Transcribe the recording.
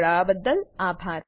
જોડાવાબદ્દલ આભાર